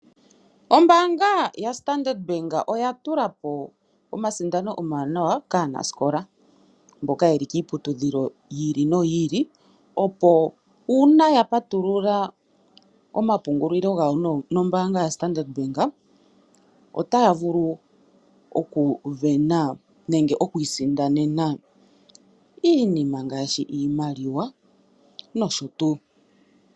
Ombaanga yoStandard oya tula po omasindano omawanawa kaanasikola mboka ye li kiiputudhilo yi ili no yi ili, opo uuna ya patulula omapungulilo gawo nombaanga yoStandard otaya vulu okwii sindanena iinima ngaashi iimaliwa nosho tuu.